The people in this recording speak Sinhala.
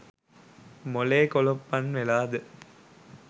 මොලේ කොලොප්පන් වෙලා ද ?